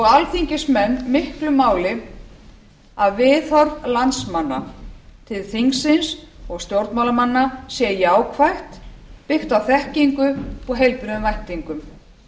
alþingismenn miklu máli að viðhorf landsmanna til þingsins og stjórnmálamanna sé jákvætt byggt á þekkingu og heilbrigðum væntingum